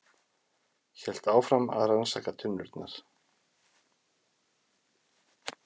Hélt áfram að rannsaka tunnurnar.